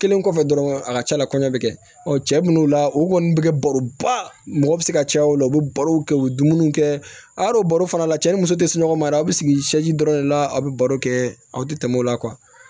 Kelen kɔfɛ dɔrɔn a ka ca la kɔɲɔ bɛ kɛ ɔ cɛ minnu la o kɔni bɛ kɛ baro ba mɔgɔ bɛ se ka caya o la u bɛ barow kɛ u be dumuniw kɛ araw baro fana la cɛ ni muso tɛ sunɔgɔ ma yɛrɛ a bɛ sigi dɔrɔn de la a bɛ baro kɛ aw tɛ tɛmɛ o la